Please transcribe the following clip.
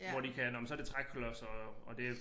Hvor de kan nåh men så det træklodser og og det